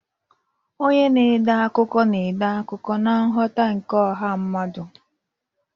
Onye na-ede akụkọ na-ede akụkọ na nghọta nke ọha mmadụ.